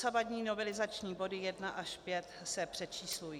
Dosavadní novelizační body 1 až 5 se přečíslují.